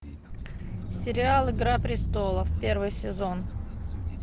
сериал игра престолов первый сезон